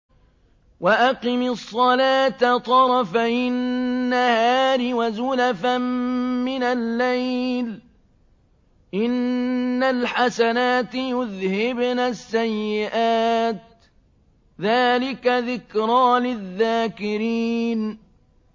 وَأَقِمِ الصَّلَاةَ طَرَفَيِ النَّهَارِ وَزُلَفًا مِّنَ اللَّيْلِ ۚ إِنَّ الْحَسَنَاتِ يُذْهِبْنَ السَّيِّئَاتِ ۚ ذَٰلِكَ ذِكْرَىٰ لِلذَّاكِرِينَ